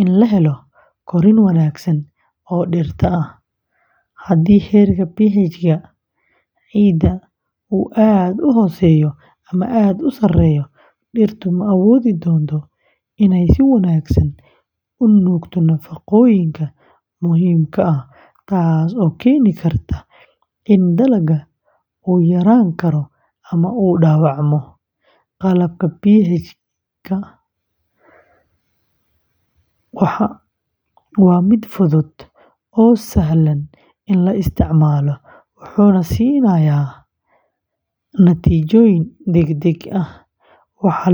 in la helo korriin wanaagsan oo dhirta ah. Haddii heerka pH-ga ciidda uu aad u hooseeyo ama aad u sarreeyo, dhirtu ma awoodi doonto inay si wanaagsan u nuugto nafaqooyinka muhiimka ah, taas oo keeni karta in dalagga uu yaraan karo ama uu dhaawacmo. Qalabka waa mid fudud oo sahlan in la isticmaalo, wuxuuna siinayaa natiijooyin degdeg ah.